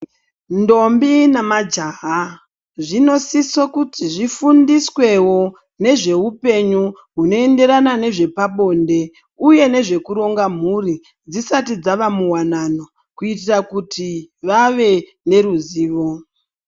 Ndombi namajaha zvinosise kuti zvifundiswewo nezveupenyu hunoenderana nezvepabonde uye nzvekuronga mhuri dzisati dzava muwanano kuitira kuti vave neruzivo.